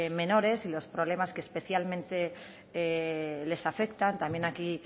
menores y los problemas que especialmente les afectan también aquí